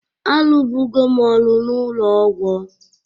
Arụbụgo m ọrụ n'ụlọ ọgwọ